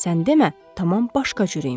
Sən demə, tamam başqa cür imiş.